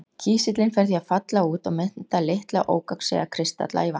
Kísillinn fer því að falla út og mynda litla ógegnsæja kristalla í vatninu.